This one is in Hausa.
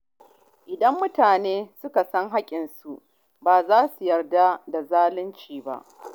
Idan mutane suka san haƙƙinsu, ba za su yarda da zalunci ba.